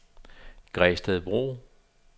Gredstedbro